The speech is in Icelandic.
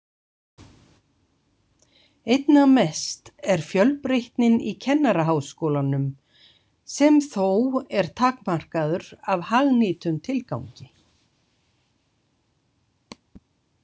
Einna mest er fjölbreytnin í Kennaraháskólanum sem þó er takmarkaður af hagnýtum tilgangi.